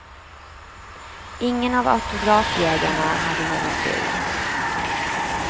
Ingen av autografjägarna hade någon tur.